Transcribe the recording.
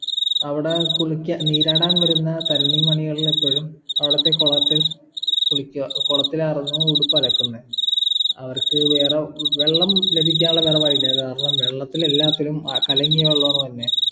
അവിടെ കുളിക്കാ നീരാടാൻ വരുന്ന തരുണിമണികൾളെപ്പോഴും അവിടുത്തെ കൊളത്തിൽ കുളിക്ക്യാ കൊളത്തിൽ ആയിരുന്നു ഉടുപ്പ് അലക്കുന്നേ അവർക്ക് വേറെ ഹും വെള്ളം ലഭിക്കാനുള്ള വേറെ വഴില്ല കാരണം വെള്ളത്തിലെല്ലാത്തിലും അഹ് കലങ്ങിയ വെള്ളാണ് വരുന്നേ